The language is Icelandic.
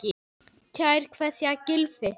Kær kveðja, Gylfi.